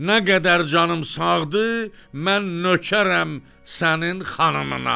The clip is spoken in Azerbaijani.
Nə qədər canım sağdır, mən nökərəm sənin xanımına.